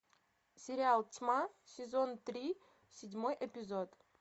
сериал тьма сезон три седьмой эпизод